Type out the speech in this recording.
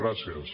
gràcies